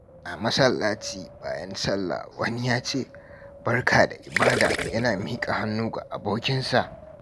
A masallaci, bayan sallah, wani ya ce, "Barka da ibada" yana miƙa hannu ga abokinsa.